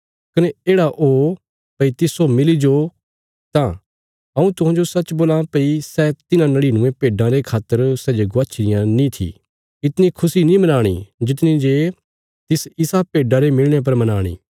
कने येढ़ा ओ भई तिस्सो मिली जो तां हऊँ तुहांजो सच्च बोलां भई सै तिन्हां नड़िनुये भेड्डां रे खातर सै जे गवाच्छी रियां नीं थी इतणी खुशी नीं मनाणी जितणी जे तिस इसा भेड्डा रे मिलणे पर मनाणी